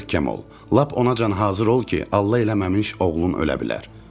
Lap ona can hazır ol ki, Allah eləməmiş, oğlun ölə bilər.